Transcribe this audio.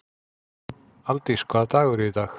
Aldís, hvaða dagur er í dag?